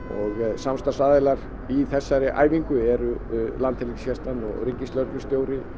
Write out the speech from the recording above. samstarfsaðilar í þessari æfingu eru Landhelgisgæslan ríkislögreglustjóri